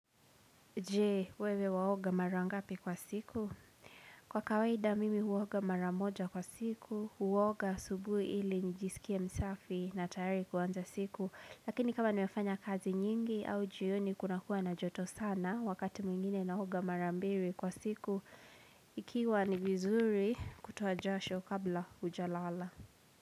Jee, wewe waoga mara ngapi kwa siku? Kwa kawaida mimi huoga mara moja kwa siku, huoga asubuhi ili nijisikie msafi na tayari kuanza siku. Lakini kama nimefanya kazi nyingi au jioni kunakuwa na joto sana wakati mwingine naoga mara mbili kwa siku, ikiwa ni vizuri kutoa jasho kabla hujalala.